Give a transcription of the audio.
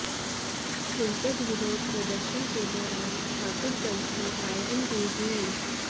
हिंसक विरोध प्रदर्शन के दौरान ठाकुरगंज में फायरिंग भी हुई